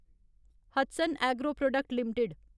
Hatsun agro product limited